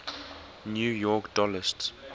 new york dollst